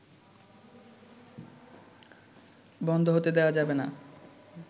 বন্ধ হতে দেয়া যাবেনা